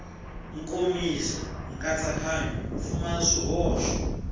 nkomiso nkatsakanyo wu pfumala swihoxo